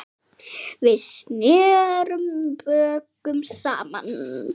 Við snerum bökum saman.